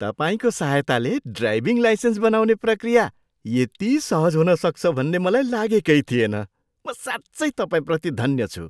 तपाईँको सहायताले driving licence बनाउने प्रक्रिया यति सहज हुन सक्छ भन्ने मलाई लागेकै थिएन। म साँच्चै तपाईँप्रति धन्य छु!